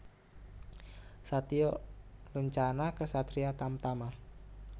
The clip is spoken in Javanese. Satya Lencana Ksatria Tamtama